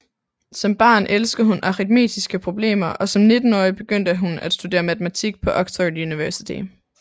Som barn elskede hun aritmetiske problemer og som nittenårig begyndte hun at studere matematik på Oxford University